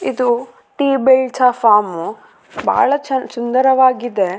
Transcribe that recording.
ಕಾಣಿಸಲು ಬರುತ್ತಿದೆ ಇಲ್ಲಿ ಸಣ್ಣದ ಒಂದು ರಸ್ತೆ ಇದೆ ಅದರ ಮೇಲೆ ಸಣ್ಣ ಸಣ್ಣ ಹುಲ್ಲುಗಳು ಕಾಣಿಸಲು ಬರು --